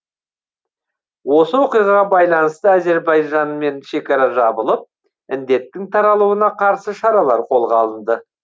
осы оқиғаға байланысты әзербайжанмен шекара жабылып індеттің таралуына қарсы шаралар қолға алынды